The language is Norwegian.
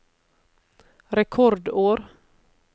rekordår